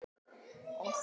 Sú er orðin raunin.